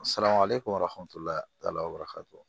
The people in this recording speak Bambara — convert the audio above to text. Siran ale ye ko